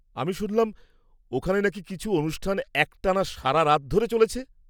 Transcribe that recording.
আমি শুনলাম, ওখানে নাকি কিছু অনুষ্ঠান একটানা সারারাত ধরেও চলেছে?